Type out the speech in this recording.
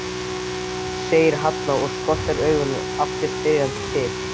segir Halla og skotrar augunum aftur spyrjandi til